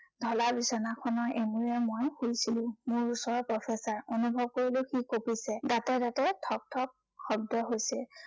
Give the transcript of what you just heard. ঢলা বিছনাখনৰ এমূৰে মই শুইছিলো। মোৰ ওচৰত professor অনুভৱ কৰিলো সি কঁপিছে। দাঁতে দাঁতে ঠক ঠক শব্দ হৈছে।